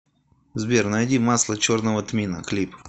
сбер найди масло черного тмина клип